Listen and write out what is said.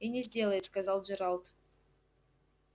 и не сделает сказал джералд